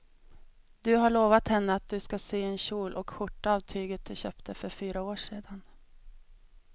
Du har lovat henne att du ska sy en kjol och skjorta av tyget du köpte för fyra år sedan.